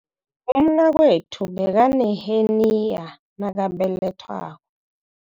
Umnakwethu bekaneheniya nakabelethwa